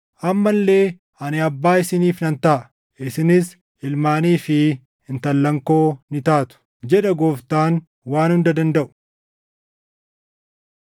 Amma illee, “Ani Abbaa isiniif nan taʼa; isinis ilmaanii fi intallan koo ni taatu; jedha Gooftaan Waan Hunda Dandaʼu.” + 6:18 \+xt 2Sm 7:8,14\+xt*